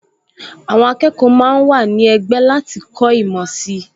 Àwọn akẹ́kọ̀ọ máa ń wà ní ẹgbẹ́ láti kọ́ ìmọ̀ sí i